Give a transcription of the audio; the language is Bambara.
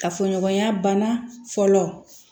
Kafoɲɔgɔnya bana fɔlɔ